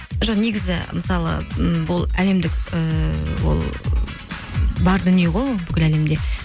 жоқ негізі мысалы м бұл әлемдік ііі ол бар дүние ғой ол бүкіл әлемде